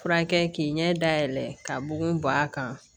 Furakɛ k'i ɲɛ dayɛlɛ ka bugun b'a kan